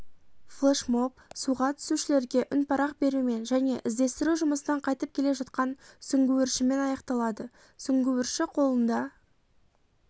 флешмоб суға түсушілерге үнпарақ берумен және іздестіру жұмысынан қайтып келе жатқан сүңгуіршімен аяқталады сүңгуірші қолында